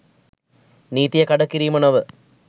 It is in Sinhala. නීතිය කඩකිරීම නොව